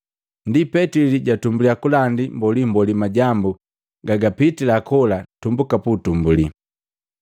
Ndi Petili jatumbulya kulandi mbolimboli majambu gagapitii kola tumbuka puutumbuli.